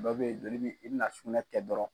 Dɔw bɛ ye joli bi i bɛna sugunɛ kɛ dɔrɔn.